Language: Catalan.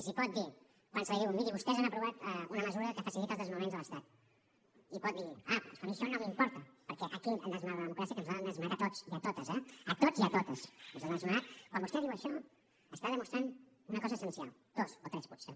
si pot dir quan se li diu miri vostès han aprovat una mesura que facilita els desnonaments de l’estat pot dir ah però és que a mi això no m’importa perquè aquí han desnonat la democràcia que ens l’han desnonat a tots i a totes eh a tots i a totes ens l’han desnonat quan vostè diu això està demostrant una cosa essencial dues o tres potser